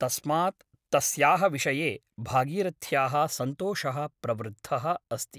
तस्मात् तस्याः विषये भागीरथ्याः सन्तोषः प्रवृद्धः अस्ति ।